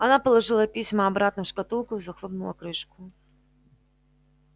она положила письма обратно в шкатулку и захлопнула крышку